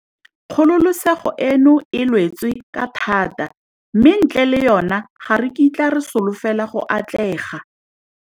Kgololesego eno e lwetswe ka thata mme ntle le yona, ga re kitla re slofela go atlega.